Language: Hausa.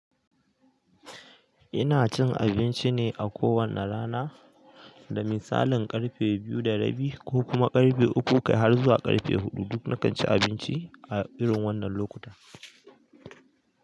Ina cin abinci ne a kowane rana, da misalin ƙarfe biyu da rabi ko kuma ƙarfe uku kai har zuwa ƙarfe huɗu. Duk na ci abinci a irin wannan lokuta.